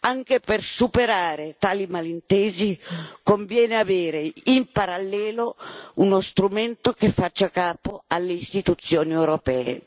Anche per superare tali malintesi conviene avere, in parallelo, uno strumento che faccia capo alle istituzioni europee.